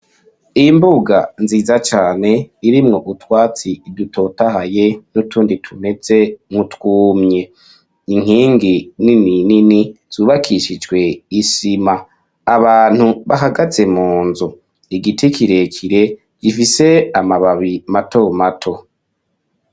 Imbuga nziza cane irimwo utwatsi idutotahaye n'utundi tumetse nkutwumye inkingi nini nini zubakishijwe isima abantu bahagaze mu nzu igiti kirekire gifise amababi mato mato.